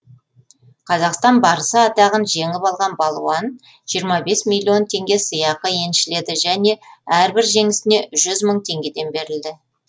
қазақстан барысы атағын жеңіп алған балуан жиырма бес миллион теңге сыйақы еншіледі және әрбір жеңісіне жүз мың теңгеден берілді